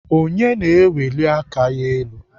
Onye na-eweli aka ya elu?